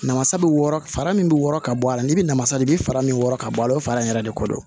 Namasa bɛ wɔɔrɔ fara min bɛ wɔrɔ ka bɔ a la ni bɛ namasa de bɛ fara min wɔrɔ ka bɔ a la fara in yɛrɛ de ko don